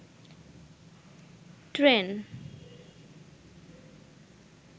train